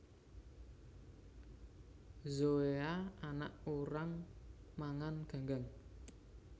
Zoea anak urang mangan ganggang